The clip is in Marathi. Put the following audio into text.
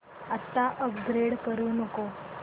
आता अपग्रेड करू नको